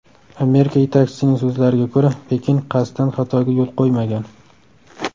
Amerika yetakchisining so‘zlariga ko‘ra, Pekin qasddan xatoga yo‘l qo‘ymagan.